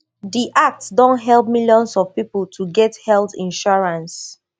di act don help millions of pipo to get health insurance